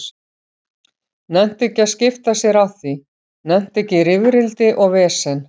Nennti ekki að skipta sér af því, nennti ekki í rifrildi og vesen.